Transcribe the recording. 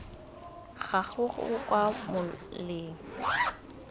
ga gago kwa moleng o